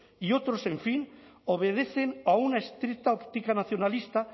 y otros en fin obedecen a una estricta óptica nacionalista